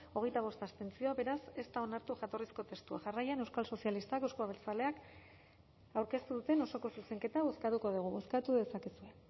hogeita bost abstentzio beraz ez da onartu jatorrizko testua jarraian euskal sozialistak euzko abertzaleak aurkeztu duten osoko zuzenketa bozkatuko dugu bozkatu dezakezue